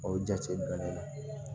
O jate dɔnnen don